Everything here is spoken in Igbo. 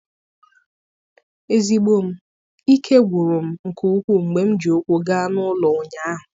Ezigbo m, ike gwụrụ m nke ukwuu mgbe m ji ụkwụ gaa n'ụlọ ụnyaahụ.